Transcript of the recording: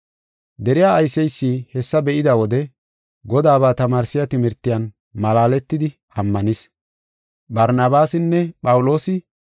Deriya ayseysi hessa be7ida wode Godaaba tamaarsiya timirtiyan malaaletidi ammanis.